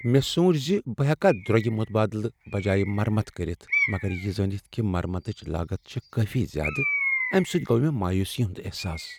مےٚ سونچ ز بہٕ ہیکا درۄگہ متبادلہ بجایہ مرمت کٔرتھ، مگر یہ زٲنتھ کہ مرمتٕچ لاگت چھےٚ کٲفی زیادٕ، امہ سۭتۍ گوٚو مےٚ مایوسی ہنٛد احساس۔